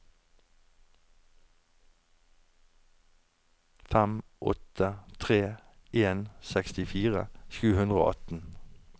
fem åtte tre en sekstifire sju hundre og atten